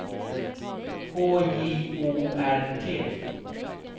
H J O R T